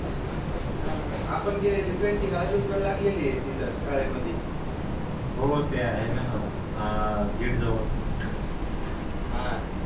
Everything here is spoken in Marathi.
हा आपण केलेली पेंटिंग आजून पण लागलेली आहे तिथं शाळेमधी हो ते आहे ना आह गेट जवळ हा